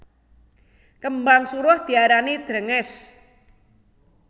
Kembang suruh diarani drèngès